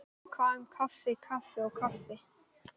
Hvað um kaffi kaffi og kaffi.